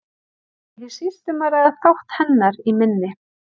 Þar er ekki síst um að ræða þátt hennar í minni.